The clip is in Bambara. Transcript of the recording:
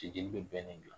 Te jeli be bɛn nin la